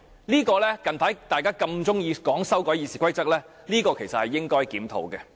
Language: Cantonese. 大家近日那麼喜歡說要修改《議事規則》，這其實是應該檢討的問題。